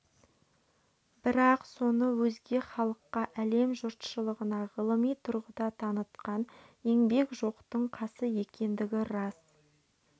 бірақ соны өзге халыққа әлем жұртшылығына ғылыми тұрғыда танытқан еңбек жоқтың қасы екендігі рас